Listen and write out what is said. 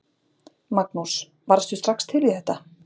Magnús: Varðstu strax til í þetta?